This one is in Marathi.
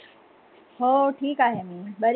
हो, ठिक आहे मी बरी